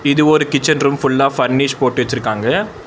இது ஒரு kitchen room ஃபுல்லா ஃபர்னீஸ் போட்டு வெச்சிருக்காங்க.